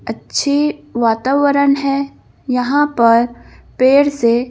अच्छीवातावरण है यहां पर पेड़ से--